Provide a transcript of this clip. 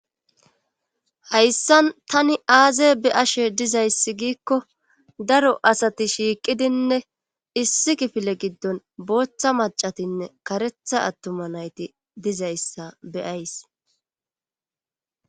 hayssan tani aaze beashe dizayssi giikko daro asati shiiqidinne issi kifile giddon booththa macatinne karetha attuma nayti dizayssa beyays